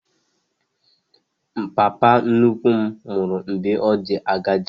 Papa nnukwu m nwụrụ mgbe ọ dị agadi